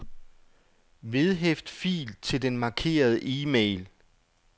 Vedhæft fil til den markerede e-mail.